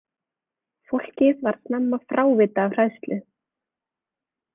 Fólkið varð snemma frávita af hræðslu.